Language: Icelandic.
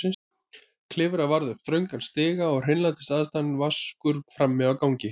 Klifra varð upp þrönga stiga og hreinlætisaðstaðan vaskur frammi á gangi.